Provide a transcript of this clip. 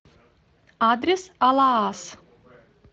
адрес алаас